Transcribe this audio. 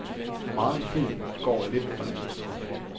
Meget i filmen går lidt for nemt.